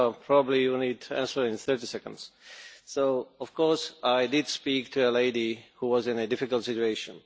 probably you need to answer in 30 seconds. Of course I did speak to a lady who was in a difficult situation.